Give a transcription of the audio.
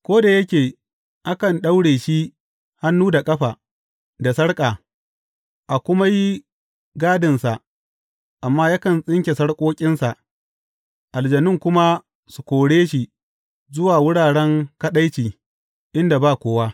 Ko da yake akan daure shi hannu da ƙafa, da sarƙa, a kuma yi gadinsa, amma yakan tsinke sarƙoƙinsa, aljanun kuma su kore shi zuwa wuraren kaɗaici, inda ba kowa.